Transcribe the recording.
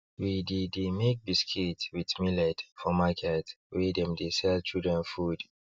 we de de make biscuits with millet for markets wey dem de sell children food